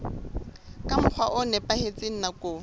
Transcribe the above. ka mokgwa o nepahetseng nakong